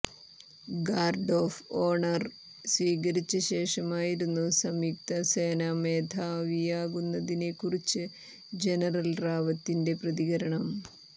guard of honour സ്വീകരിച്ച ശേഷമായിരുന്നു സംയുക്ത സേനാമേധാവിയാകുന്നതിനെ കുറിച്ച് ജനറൽ റാവത്തിന്റെ പ്രതികരണം